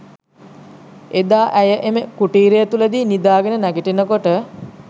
එදා ඇය එම කුටීරය තුලදී නිදාගෙන නැගිටිනකොට